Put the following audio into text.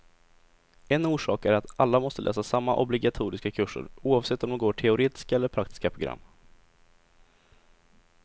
En orsak är att alla måste läsa samma obligatoriska kurser, oavsett om de går teoretiska eller praktiska program.